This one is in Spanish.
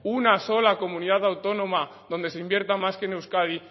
una sola comunidad autónoma donde se invierta más que en euskadi